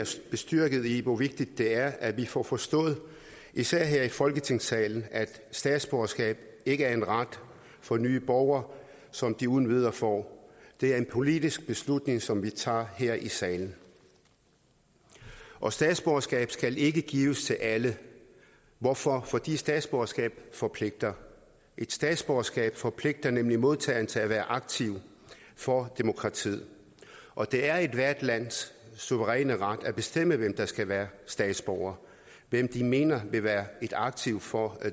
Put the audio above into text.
bestyrket i hvor vigtigt det er at vi får forstået især her i folketingssalen at statsborgerskab ikke er en ret for nye borgere som de uden videre får det er en politisk beslutning som vi træffer her i salen og statsborgerskab skal ikke gives til alle hvorfor fordi statsborgerskab forpligter et statsborgerskab forpligter nemlig modtageren til at være aktiv for demokratiet og det er ethvert lands suveræne ret at bestemme hvem der skal være statsborger hvem de mener vil være et aktiv for